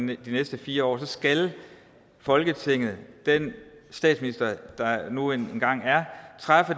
de næste fire år skal folketinget den statsminister der nu engang er træffe